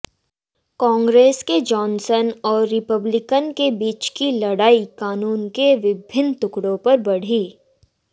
कांग्रेस में जॉनसन और रिपब्लिकन के बीच की लड़ाई कानून के विभिन्न टुकड़ों पर बढ़ी